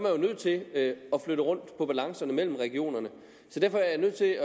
jo nødt til at flytte rundt på balancerne mellem regionerne derfor er jeg nødt til at